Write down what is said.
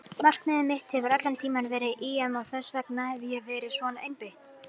Markmiðið mitt hefur allan tímann verið EM og þess vegna hef ég verið svona einbeitt.